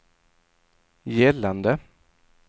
gällande